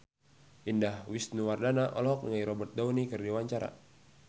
Indah Wisnuwardana olohok ningali Robert Downey keur diwawancara